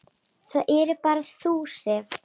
Það ert bara þú, Sif.